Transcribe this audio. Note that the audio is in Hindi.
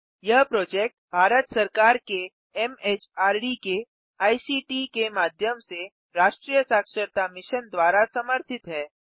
यह प्रोजेक्ट भारत सरकार के एमएचआरडी के आईसीटी के माध्यम से राष्ट्रीय साक्षरता मिशन द्वारा समर्थित है